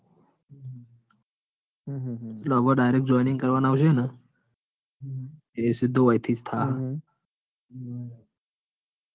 હમ એટલે હવે direct joining કરવાનું આવસે ન? એ સીધું ઓય થી જ થાહ.